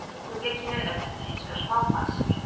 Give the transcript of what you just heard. Í augnablikinu er þetta hins vegar smá basl.